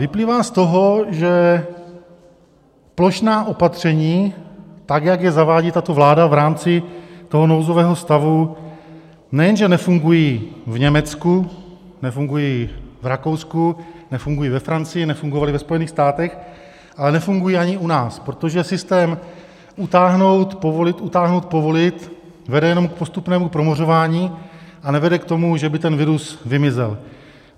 Vyplývá z toho, že plošná opatření, tak jak je zavádí tato vláda v rámci toho nouzového stavu, nejenže nefungují v Německu, nefungují v Rakousku, nefungují ve Francii, nefungovaly ve Spojených státech, ale nefungují ani u nás, protože systém utáhnout, povolit, utáhnout, povolit vede jenom k postupnému promořování a nevede k tomu, že by ten virus vymizel.